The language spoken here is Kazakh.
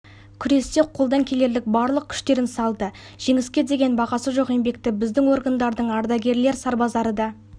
күресте қолдан келерлік барлық күштерін салды жеңіске деген бағасы жоқ еңбекті біздің органдарының ардагерлер-сарбаздары де